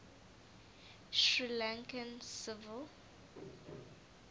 sri lankan civil